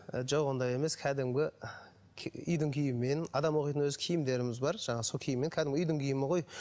ы жоқ ондай емес кәдімгі үйдің киімімен адам оқитын өзі киімдеріміз бар жаңағы сол киіммен кәдімгі үйдің киімі ғой